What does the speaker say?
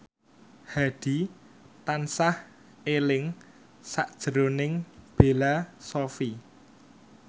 Hadi tansah eling sakjroning Bella Shofie